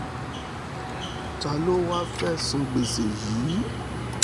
ta ló wáá fẹ́ẹ́ san gbèsè yìí